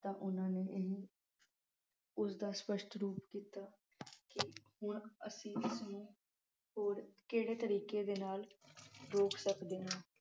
ਤਾਂ ਉਨ੍ਹਾਂ ਨੇ ਇਹ ਉਸਦਾ ਸਪਸ਼ਟ ਰੂਪ ਕੀਤਾ ਕਿ ਹੁਣ ਅਸੀਂ ਹੋਰ ਕਿਹੇ ਤਰੀਕੇ ਦੇ ਨਾਲ ਰੋਕ ਸਕਦੇ ਹਾਂ।